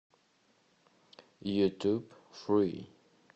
ютуб фри